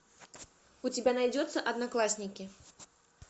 у тебя найдется одноклассники